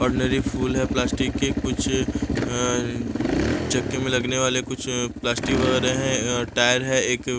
ordinary फूल है plastic के कुछ अअ चक्के में लगने वाले कुछ प्लास्टिक वगैरह है अअ टायर है एक --